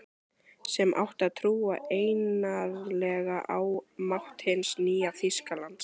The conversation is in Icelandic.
Sem átti að trúa einarðlega á mátt hins nýja Þýskalands.